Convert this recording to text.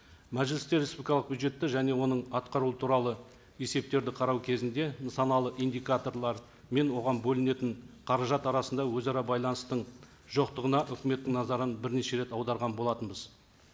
мәжілісте республикалық бюджетті және оның атқаруы туралы есептерді қарау кезінде нысаналы индикаторлар мен оған бөлінетін қаражат арасында өзара байланыстың жоқтығына өкіметтің назарын бірнеше рет аударған болатынбыз